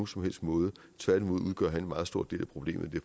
som helst måde tværtimod udgør han en meget stor del af problemet